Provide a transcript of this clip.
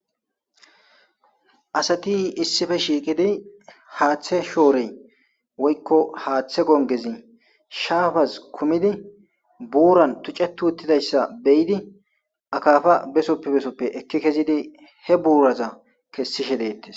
Asati issife shiiqidi haaththe shoorey woykko haaththe gongezi shaafaz kumidi buuran tucetu uttidayssa beyidi akafa besoppe besoppe ekki kezidi he buuraza kessishe deettes.